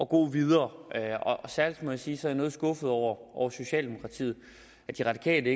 gå videre og særlig må jeg sige at jeg er noget skuffet over socialdemokratiet at de radikale